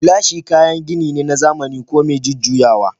Gilashi kayan gini ne na zahiri ko mai jujjuyawa